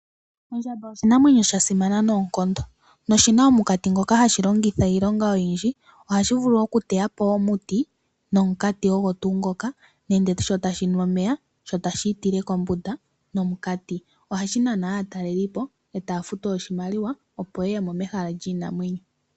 Ondjamba oshinamwenyo sha simana noonkondo . Oshi na omunkati ngoka hashi longitha iilonga oyindji. Ohashi vulu okuteya po omuti nomunkati gwasho. Nenge sho tashi nu omeya sho tashi itile kombunda nomunkati. Ohashi nana aatalelipo e taya futu oshimaliwa opo ye ye mo mehala lyiinamwenyo.